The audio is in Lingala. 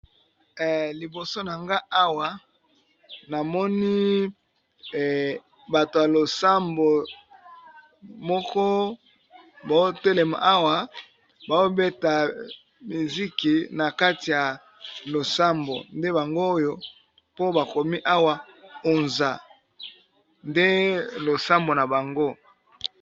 Liboso na nga awa namoni bato ya losambo moko botelema awa babeta miziki na kati ya losambo nde bango oyo po bakomi awa onza nde losambo na bango.